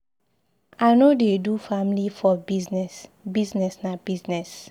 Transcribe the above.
I no dey do family for business. Business na business.